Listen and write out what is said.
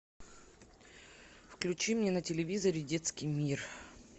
включи мне на телевизоре детский мир